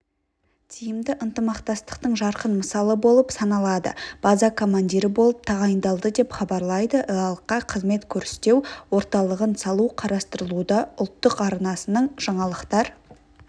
тиімді ынтымақтастықтың жарқын мысалы болып саналады база командирі болып тағайындалды деп хабарлайды іалыққа қызмет көрстеу орталығын салу қарастырылуда ұлттық арнасының жаңалықтар